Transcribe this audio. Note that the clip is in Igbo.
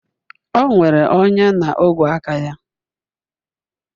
O nwere ọnya na ogwe aka ya